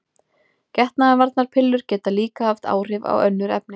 Getnaðarvarnarpillur geta líka haft áhrif á önnur efni.